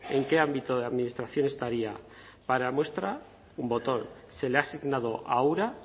en qué ámbito de administración estaría para muestra un botón se le ha asignado a ura